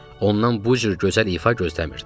Ondan bu cür gözəl ifa gözləmirdim.